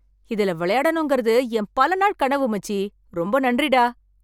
இதுல விளையாடணுங்கிறது என் பல நாள் கனவு, மச்சி. ரொம்ப நன்றி டா.